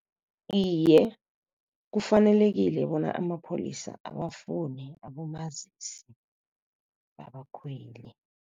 Iye, kufanelekile bona amapholisa abafune abomazisi babakhweli.